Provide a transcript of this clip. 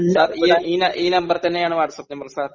sir ഈ ന ഈ നമ്പർ തന്നെയാണ് വാട്ടസാപ്പ് സർ